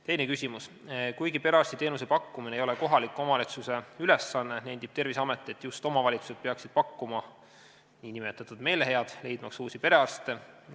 Teine küsimus: "Kuigi perearstiteenuse pakkumine ei ole kohaliku omavalitsuse ülesanne, nendib Terviseamet, et just omavalitsused peaksid pakkuma nn "meelehead" leidmaks uusi perearste.